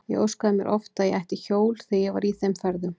Ég óskaði mér oft að ég ætti hjól þegar ég var í þeim ferðum.